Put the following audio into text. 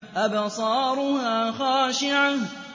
أَبْصَارُهَا خَاشِعَةٌ